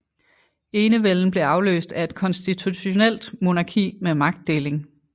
Enevælden blev afløst af et konstitutionelt monarki med magtdeling